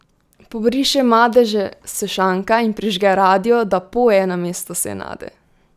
Pobriše madeže s šanka in prižge radio, da poje namesto Senade.